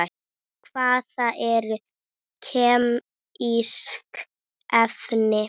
Hvað eru kemísk efni?